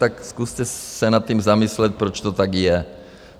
Tak zkuste se nad tím zamyslet, proč to tak je.